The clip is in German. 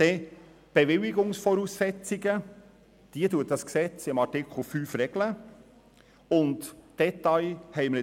Die Bewilligungsvoraussetzungen regelt das Gesetz in Artikel 5.